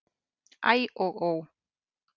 Æ og ó!